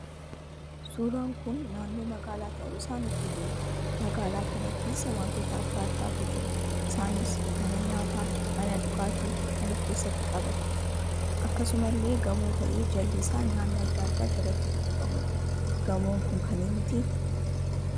Suuraan kun naannoo magaalaa tahuu isaa nutti hima. magaalaa kana keessa wantoota adda addaatu jira. isaanis mana nyaataa, mana dhugaatii kan of keessatti qabatuudha. akkasumallee gamoo tahee jalli isaa nyaanni adda addaa jalatti gurguramuudha. gamoon kun kan eenyuti?